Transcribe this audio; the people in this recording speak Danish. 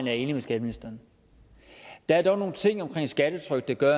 jeg enig med skatteministeren der er dog nogle ting omkring skattetrykket der